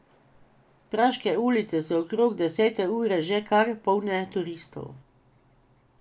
Praške ulice so okrog desete ure že kar polne turistov.